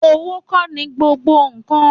Òwo kọ ní gbogbo kàn